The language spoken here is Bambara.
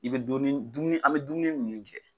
I bɛ dɔɔnin an bɛ dumuni minnu kɛ.